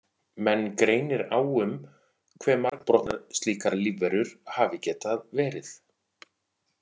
Menn greinir á um hve margbrotnar slíkar lífverur hafi getað verið.